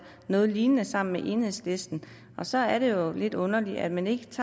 noget lignende sammen med enhedslisten og så er det jo lidt underligt at man ikke